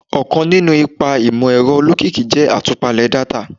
Ọkan ninu awọn ipa imọ-ẹrọ olokiki jẹ atupale data